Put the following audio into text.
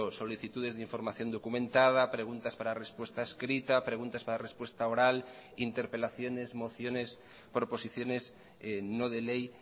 solicitudes de información documentada preguntas para respuesta escrita preguntas para respuesta oral interpelaciones mociones proposiciones no de ley